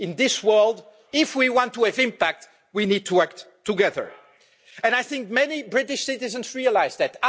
In this world, if we want to have impact, we need to act together. And I think many British citizens realise that.